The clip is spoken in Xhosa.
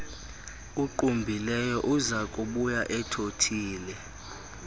uqumbileyo uzakubuya ethothile